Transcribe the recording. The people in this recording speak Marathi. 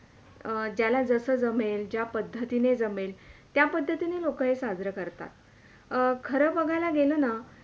ज्याला जस जमेल, ज्या पद्धतिने जमेल त्या पद्धती ने लोक ही साजरे करतात खरं बघायला गेले ना.